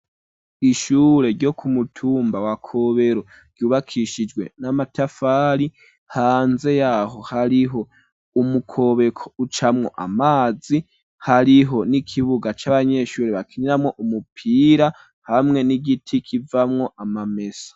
Ishure ryo ku mutumba wa Kobero ryubakishijwe n'amatafari hanze yaho hariho umukobeko ucamwo amazi hariho n'ikibuga c'abanyeshuri bakiniramwo umupira hamwe n'igiti kivamwo amamesa.